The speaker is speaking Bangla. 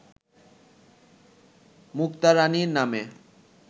মুক্তা রাণী নামে